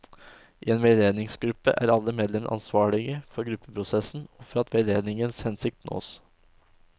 I en veiledningsgruppe er alle medlemmene ansvarlige for gruppeprosessen og for at veiledningens hensikt nås.